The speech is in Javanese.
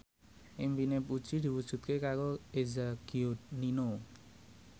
impine Puji diwujudke karo Eza Gionino